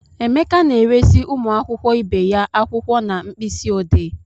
Emeka na-eresị ụmụ akwụkwọ ibe ya akwụkwọ na mkpịsị odee.